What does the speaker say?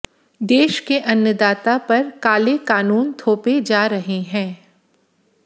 देश के अन्नदाता पर काले कानून थोपे जा रहे हैं